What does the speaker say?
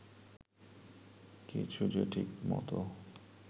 কিছু যে ঠিকমতো